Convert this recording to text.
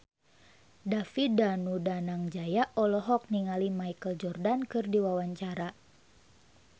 David Danu Danangjaya olohok ningali Michael Jordan keur diwawancara